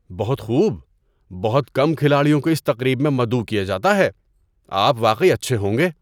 بہت خوب! بہت کم کھلاڑیوں کو اس تقریب میں مدعو کیا جاتا ہے۔ آپ واقعی اچھے ہوں گے!